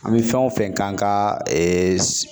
An bɛ fɛn o fɛn k'an ka ee